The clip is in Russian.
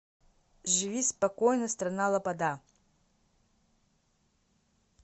живи спокойно страна лобода